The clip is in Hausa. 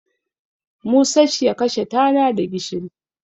Musacya kashe tana da gishiri.